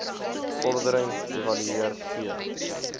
vordering evalueer t